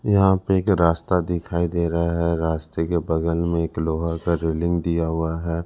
यहां पे का रास्ता दिखाई दे रहा है रास्ते के बगल में एक लोहा का रेलिंग दिया हुआ है।